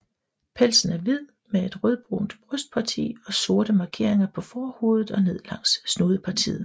Pelsen er hvid med et rødbrunt brystparti og sorte markeringer på forhovedet og ned langs snudepartiet